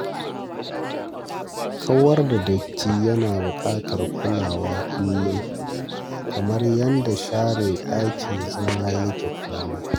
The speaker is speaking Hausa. Kawar da datti yana buƙatar kulawa kullum, kamar yanda da share ɗakin zama yake kullum.